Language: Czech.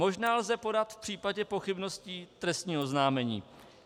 Možná lze podat v případě pochybností trestní oznámení.